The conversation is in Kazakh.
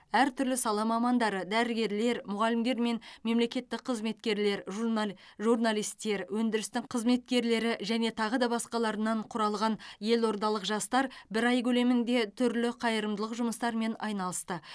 әр түрлі сала мамандары дәрігерлер мұғалімдер мен мемлекеттік қызметкерлер журнал журналистер өндірістің қызметкерлері және тағы да басқа құралған елордалық жастар бір ай көлемінде түрлі қайырымдылық жұмыстарымен айналысты